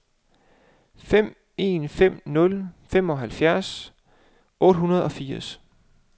fem en fem nul femoghalvfems otte hundrede og fire